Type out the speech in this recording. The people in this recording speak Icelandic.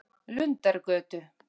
Lundargötu